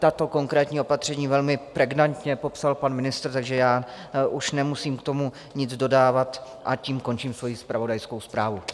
Tato konkrétní opatření velmi pregnantně popsal pan ministr, takže já už nemusím k tomu nic dodávat a tím končím svoji zpravodajskou zprávu.